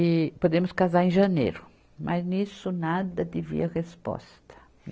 E podemos casar em janeiro, mas nisso nada de vir a resposta.